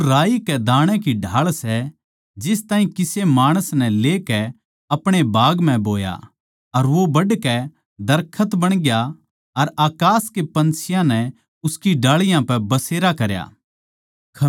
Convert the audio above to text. वो राई कै दाणै की ढाळ सै जिस ताहीं किसे माणस नै लेकै अपणे बाग म्ह बोया अर वो बढ़कै दरखत बणग्या अर अकास के पन्छियाँ नै उसकी डाळीयाँ पै बसेरा करया